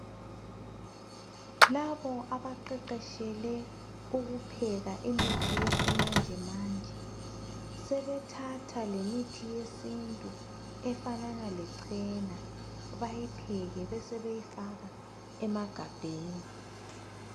Labo abaqeqeshele ukupheka imithi yesimanje manje sebethatha lemithi yesintu efanana lechena bayipheke besebeyifaka emagabheni.